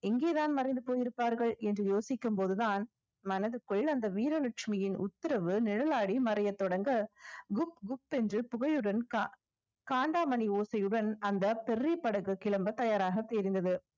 எங்கே தான் மறைந்து போயிருப்பார்கள் என்று யோசிக்கும் போதுதான் மனதுக்குள் அந்த வீரலட்சுமியின் உத்தரவு நிழலாடி மறையத் தொடங்க குக் குப் என்று புகையுடன் க~ காண்டாமணி ஓசையுடன் அந்த படகு கிளம்பத் தயாராக தெரிந்தது